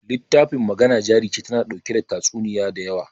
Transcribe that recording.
littafin Magana Jari Ce tana ɗauke da tatsuniya da yawa.